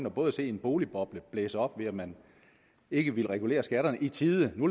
og både se en boligboble blive blæst op ved at man ikke ville regulere skatterne i tide nu